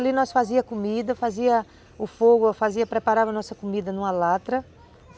Ali nós fazíamos comida, fazíamos o fogo, fazíamos, preparávamos nossa comida numa lata.